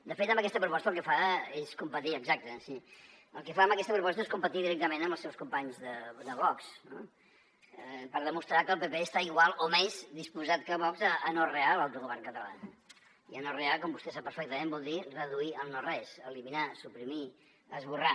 de fet amb aquesta proposta el que fa és competir exacte sí directament amb els seus companys de vox no per demostrar que el pp està igual o més disposat que vox a anorrear l’autogovern català i anorrear com vostè sap perfectament vol dir reduir al no res eliminar suprimir esborrar